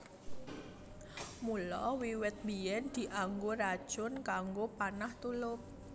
Mula wiwit biyèn dianggo racun kanggo panah tulup